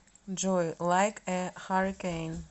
джой лайк э харрикейн